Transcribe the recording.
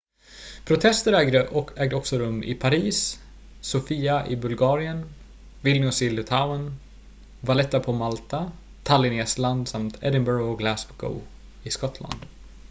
protester ägde också rum i paris sofia i bulgarien vilnius i litauen valetta på malta tallinn i estland samt edinburgh och glasgow i skottland